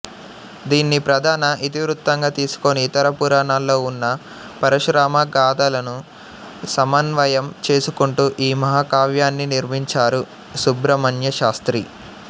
దీన్ని ప్రధాన ఇతివృత్తంగా తీసుకుని ఇతర పురాణాల్లో ఉన్న పరశురామ గాథలను సమన్వయం చేసుకుంటూ ఈ మహాకావ్యాన్ని నిర్మించారు సుబ్రహ్మణ్యశాస్త్రి